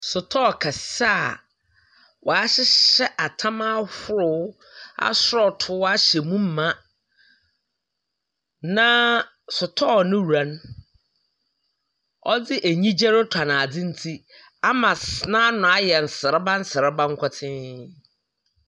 Sotɔɔ kɛseɛ a wɔahyehyɛ atam ahorow asɔɔtoo ahyɛ mu ma, na sotɔɔ no wura no ɔdze anigye retɔn adze nti, ama sss n'ano ayɛ nsereba nsereba nkotee.